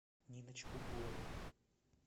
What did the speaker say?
ниночку гурову